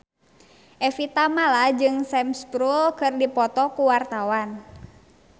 Evie Tamala jeung Sam Spruell keur dipoto ku wartawan